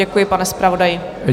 Děkuji, pane zpravodaji.